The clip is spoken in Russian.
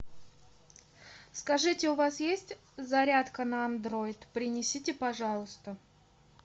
скажите у вас есть зарядка на андроид принесите пожалуйста